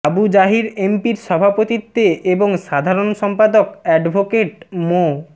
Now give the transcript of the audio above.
আবু জাহির এমপির সভাপতিত্বে এবং সাধারণ সম্পাদক অ্যাডভোকেট মো